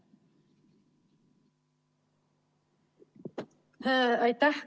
Aitäh!